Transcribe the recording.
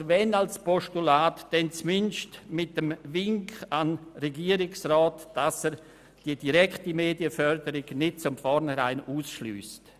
Oder wenn sie als Postulat überwiesen würden, dann zumindest mit dem Wink an den Regierungsrat, er möge die direkte Medienförderung nicht von vornherein ausschliessen.